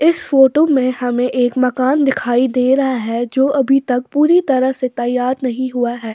इस फोटो में हमें एक मकान दिखाई दे रहा है जो अभी तक पूरी तरह से तैयार नहीं हुआ है।